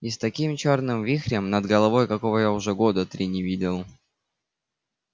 и с таким чёрным вихрем над головой какого я уже года три не видел